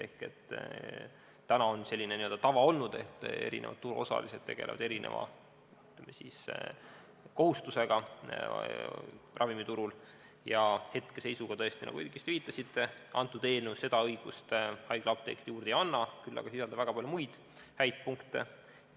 Siiani on olnud selline tava, et erinevad turuosalised tegelevad erineva kohustusega ravimiturul, ja hetkeseisuga, nagu te õigesti viitasite, kõnealune eelnõu seda õigust haiglaapteekidele juurde ei anna, küll aga sisaldab väga palju muid häid punkte.